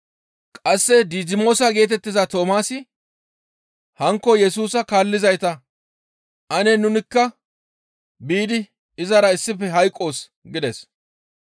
Qasse Didimoosa geetettiza Toomaasi hankko Yesusa kaallizayta, «Ane nunikka biidi izara issife hayqqoos» gides.